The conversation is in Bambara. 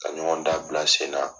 Ka ɲɔgɔndan bila senna.